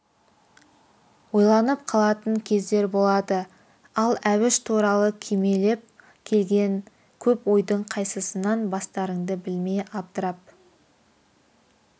ойланып қалатын кездер болады ал әбіш туралы кимелеп келген көп ойдың қайсысынан бастарыңды білмей абдырап